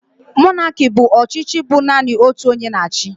Monaki bụ ọchịchị bụ naanị otu onye na achị.